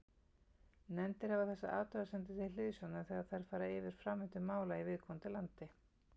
Nefndir hafa þessar athugasemdir til hliðsjónar þegar þær fara yfir framvindu mála í viðkomandi landi.